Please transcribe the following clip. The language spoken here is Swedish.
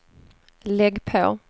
lägg på